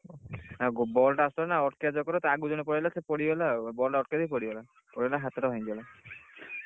ball ଟା ଆସୁଥିଲା ନା ଅଟକେଇଆ ଚକର ରେ ତା ଆଗକୁ ଜାଣେ ପଳେଇ ଆସିଲା ସେ ପଡ଼ିଗଲା ଆଉ ball ଟା ଅଟକେଇ ଦେଇ ପଡିଗଲା। ପଡିଗଲା ହାତ ଟା ଭାଙ୍ଗିଗଲା।